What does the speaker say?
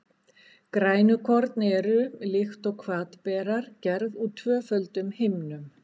Grænukorn eru, líkt og hvatberar, gerð úr tvöföldum himnum.